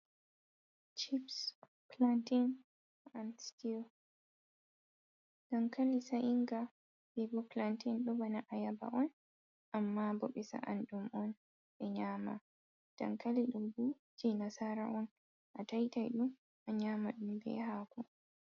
Cips, planteyn an stiiw. Dankali sa'inga be bo planteyn ɗo bana ayaba on, amma bo ɓe sa'an ɗum on, ɓe nyama. Dankali ɗo bo jei nasara on, ataitai ɗum, a nyaama ɗum be haako.